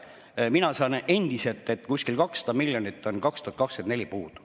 Mina saan endiselt, et kuskil 200 miljonit on 2024 puudu.